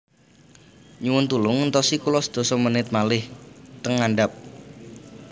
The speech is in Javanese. Nyuwun tulung entosi kulo sedasa menit malih ten ngandhap